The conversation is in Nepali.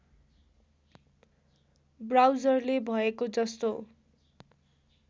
ब्राउजरले भएको जस्तो